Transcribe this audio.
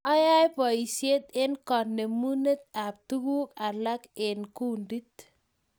Ae poishek eng kanemunet ap tuguk alak eng kundit